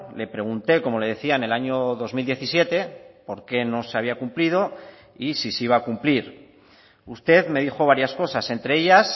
le pregunté como le decía en el año dos mil diecisiete por qué no se había cumplido y si se iba a cumplir usted me dijo varias cosas entre ellas